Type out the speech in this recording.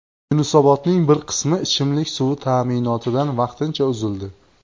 Yunusobodning bir qismi ichimlik suvi ta’minotidan vaqtincha uzildi.